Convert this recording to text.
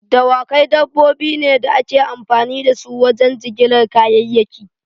Dawakai dabbobi ne da ake amfani da su wajen jigilar kayayyaki.